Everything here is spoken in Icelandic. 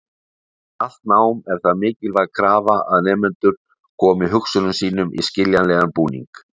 Við allt nám er það mikilvæg krafa að nemendur komi hugsunum sínum í skiljanlegan búning.